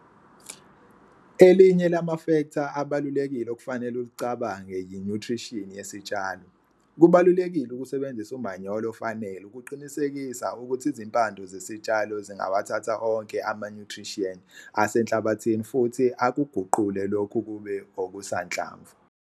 Elinye lamafektha abalulekile okufanele ulicabange yinyuthrishini yesitshalo. Kubalulekile ukusebenzisa umanyolo ofanele ukuqinisekisa ukuthi izimpande zesitshalo zingawathatha onke amanyuthriyenti asenhlabathini futhi akuguqule lokhu kube okusanhlamvu.